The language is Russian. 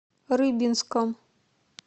рыбинском